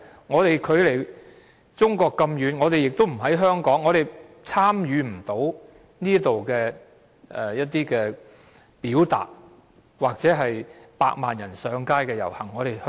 我們當時距離中國這麼遠，不在香港，無法參與這裏的活動或百萬人上街的遊行。